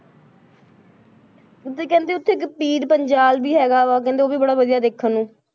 ਤੇ ਕਹਿੰਦੇ ਉੱਥੇ ਇੱਕ ਪੀੜ ਪੰਜਾਲ ਵੀ ਹੈਗਾ ਵਾ ਕਹਿੰਦੇ ਉਹ ਵੀ ਬੜਾ ਵਧੀਆ ਦੇਖਣ ਨੂੰ,